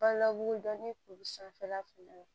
Bala mugu dɔnnen kuru sanfɛla fɛnɛ